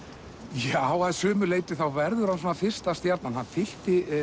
já að sumu leyti verður hann fyrsta stjarnan hann fyllti